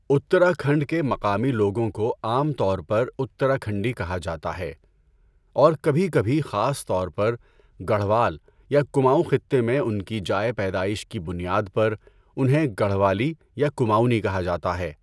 اتراکھنڈ کے مقامی لوگوں کو عام طور پر اتراکھنڈی کہا جاتا ہے اور کبھی کبھی خاص طور پر، گڑھوال یا کماؤں خطے میں ان کی جائے پیدائش کی بنیاد پر، انہیں گڑھوالی یا کماؤنی کہا جاتا ہے۔